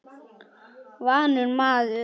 Vanur maður.